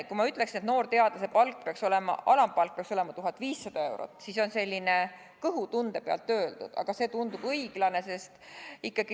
Kui ma ütleksin, et noorteadlase alampalk peaks olema 1500 eurot, siis see on kõhutunde pealt öeldud, aga see tundub õiglane.